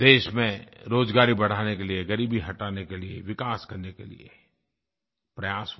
देश में रोज़गार बढ़ाने के लिये ग़रीबी हटाने के लिये विकास करने के लिये प्रयास हुए